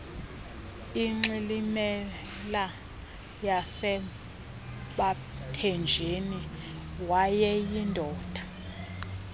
ingxilimbela yasebathenjini wayeyindoda